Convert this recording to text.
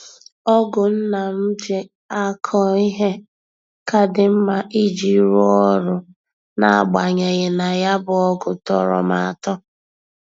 Ọ́gụ̀ nna m ji akọ ihe ka dị mma iji rụọ ọrụ na-agbanyeghị na ya bụ ọ́gụ̀ tọrọ m atọ.